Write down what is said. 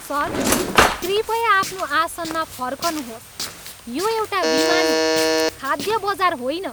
Sir, कृपया आफ्नो आसनमा फर्कनुहोस्। यो एउटा विमान हो, खाद्य बजार होइन!